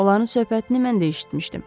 Onların söhbətini mən də eşitmişdim.